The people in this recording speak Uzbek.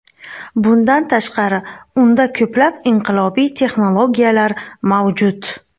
Bundan tashqari, unda ko‘plab inqilobiy texnologiyalar mavjud.